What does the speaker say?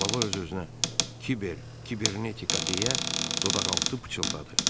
Baba öz-özünə "Kiber, kibernetika" deyə dodaqaltı pıçıldadı.